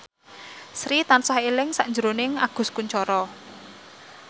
Sri tansah eling sakjroning Agus Kuncoro